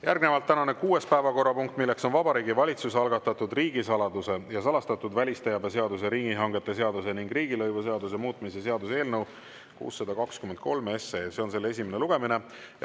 Järgnevalt tänane kuues päevakorrapunkt, milleks on Vabariigi Valitsuse algatatud riigisaladuse ja salastatud välisteabe seaduse, riigihangete seaduse ning riigilõivuseaduse muutmise seaduse eelnõu 623 esimene lugemine.